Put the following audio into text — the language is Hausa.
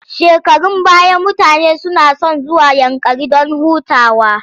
Shekarun baya mutane suna son zuwa Yankari don hutawa.